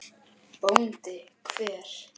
BÓNDI: Hver?